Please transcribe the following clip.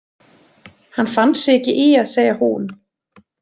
Hann fann sig ekki í að segja hún.